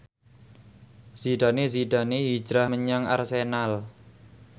Zidane Zidane hijrah menyang Arsenal